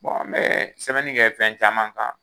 n be sɛbɛnni kɛ fɛn caman kan